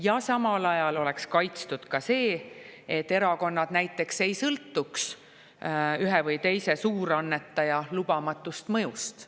Ja samal ajal oleks kaitstud ka see, et erakonnad näiteks ei sõltuks ühe või teise suurannetaja lubamatust mõjust.